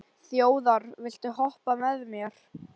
Þjóðar, viltu hoppa með mér?